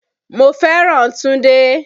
Mo fẹ́ràn Túndé.